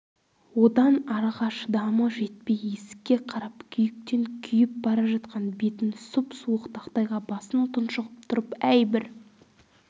одан арыға шыдамы жетпей есікке қарап күйіктен күйіп бара жатқан бетін сұп-суық тақтайға басып тұншығып тұрып әй бір